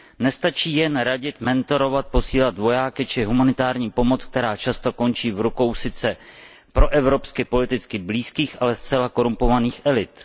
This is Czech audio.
Nestačí jen radit, mentorovat, posílat vojáky či humanitární pomoc, která často končí v rukou sice proevropsky politicky blízkých, ale zcela zkorumpovaných elit.